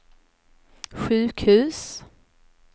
sjukhus